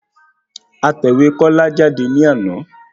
A tẹ̀wé Kọ́lá jáde ní àná